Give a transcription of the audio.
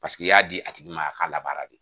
Paseke i y'a di a tigi ma a ka labaara.